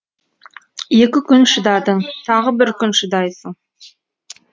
екі күн шыдадың тағы бір күн шыдайсың